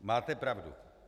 Máte pravdu!